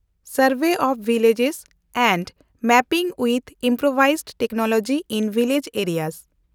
ᱥᱮᱱᱰᱵᱷᱮ of village and mapping with improvised technology in village area